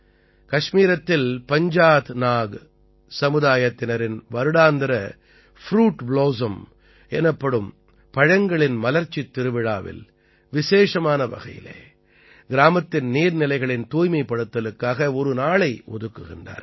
கஷ்மீரத்தில் பஞ்ஜாத் நாக் சமுதாயத்தினரின் வருடாந்திர fruit blossom எனப்படும் பழங்களின் மலர்ச்சித் திருவிழாவில் விசேஷமான வகையிலே கிராமத்தின் நீர்நிலைகளின் தூய்மைப்படுத்தலுக்காக ஒரு நாளை ஒதுக்குகிறார்கள்